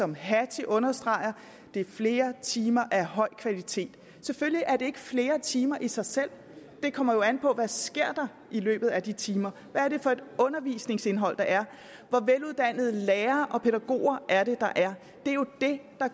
som hattie understreger det er flere timer af høj kvalitet selvfølgelig er det ikke flere timer i sig selv det kommer jo an på hvad der sker i løbet af de timer hvad er det for et undervisningsindhold der er hvor veluddannede lærere og pædagoger er det der er det er